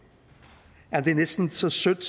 at det er næsten så sødt